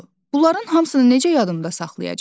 Bunların hamısını necə yadımdə saxlayacam?